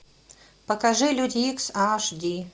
покажи люди икс аш ди